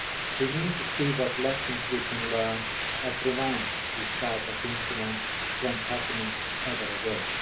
We need to see what lessons we can learn to prevent this type of incident from happening ever again.